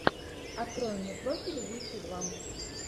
открой мне профиль убийцы два